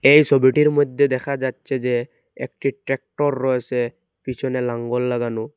এই সবিটির মইদ্যে দেখা যাচ্ছে যে একটি ট্রাক্টর রয়েছে পিছনে লাঙ্গল লাগানো।